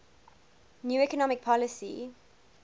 new economic policy